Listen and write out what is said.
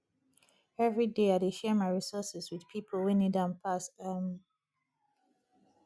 every day i dey share my resources with people wey need am pass um